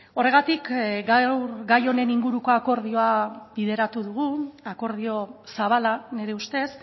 horregatik gaur gai honen inguruko akordioa bideratu dugu akordio zabala nire ustez